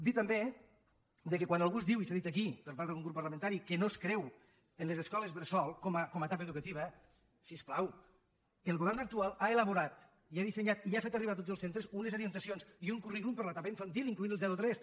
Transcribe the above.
dir també que quan algú diu i s’ha dit aquí per part d’algun grup parlamentari que no es creu en les escoles bressol com a etapa educativa si us plau el govern actual ha elaborat i ha dissenyat i ha fet arribar a tots els centres unes orientacions i un currículum per a l’etapa infantil incloent hi el zero a tres